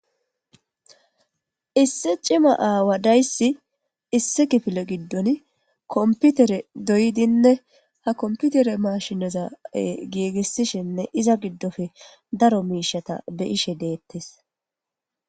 Issi cima aawa daysi issi kifile gidon kompitere doyidi ha kompitere mashineza doyidine izza gigisishene iza gidoppe daro mishata beyishe detes